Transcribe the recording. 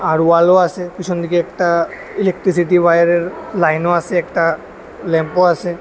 আর ওয়ালও আছে পিছন দিকে একটা ইলেকট্রিসিটি ওয়াড়ের লাইনও আছে একটা ল্যাম্পও আছে।